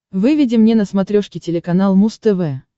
выведи мне на смотрешке телеканал муз тв